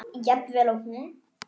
Jafn vel og hún?